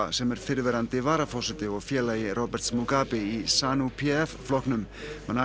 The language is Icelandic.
sem er fyrrverandi varaforseti og félagi Roberts Mugabe í p f flokknum